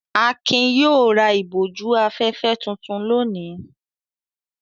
Akin yóò ra ìbòjú-afẹ́fẹ́ tuntun lónìí!